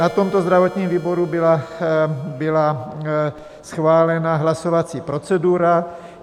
Na tomto zdravotním výboru byla schválena hlasovací procedura.